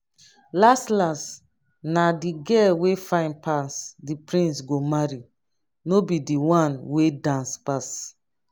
las las na the girl wey fine pass the prince go marry no be the one wey dance pass